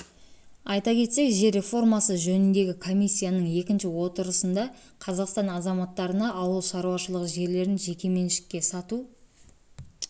айта кетсек жер реформасы жөніндегі комиссияның екінші отырысында қазақстан азаматтарына ауыл шаруашылығы жерлерін жеке меншікке сату